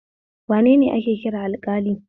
Wanene ake kira alƙali?